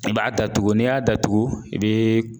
I b'a datugu, ni y'a datugu i bɛ.